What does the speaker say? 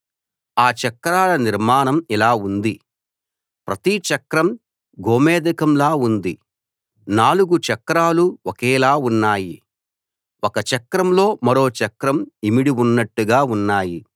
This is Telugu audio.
ఆ చక్రాల నిర్మాణం ఇలా ఉంది ప్రతి చక్రం గోమేధికంలా ఉంది నాలుగు చక్రాలూ ఒకేలా ఉన్నాయి ఒక చక్రంలో మరో చక్రం ఇమిడి ఉన్నట్టుగా ఉన్నాయి